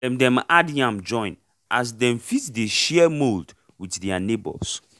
dem dem add yam join as dem fit dey share mould with their neighbours